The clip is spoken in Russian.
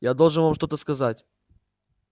я должен вам что-то сказать